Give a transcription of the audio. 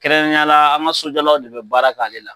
Kɛrɛnkɛrɛnnenyala an ga sojɔlaw de bi baara k'ale la